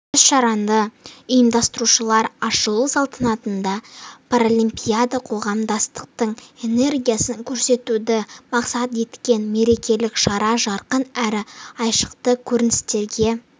іс-шараны ұйымдастырушылар ашылу салтанатында паралимпиада қоғамдастықтың энергиясын көрсетуді мақсат еткен мерекелік шара жарқын әрі айшықты көріністерге